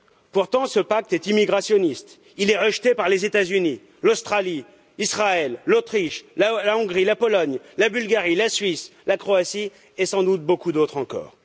Pourtant, ce pacte est immigrationniste, il est rejeté par les États Unis, l'Australie, Israël, l'Autriche, la Hongrie, la Pologne, la Bulgarie, la Suisse, la Croatie et sans doute beaucoup d'autres encore.